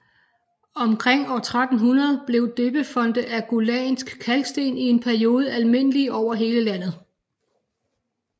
Omkring år 1300 blev døbefonte af gullandsk kalksten i en periode almindelige over hele landet